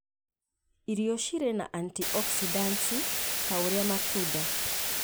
Irio cirĩ na antioxidants, ta ũrĩa matunda